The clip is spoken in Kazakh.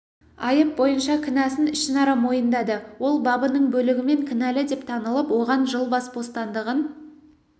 айып бойынша кінәсін ішінара мойындады ол бабының бөлігімен кінәлі деп танылып оған жыл бас бостандығын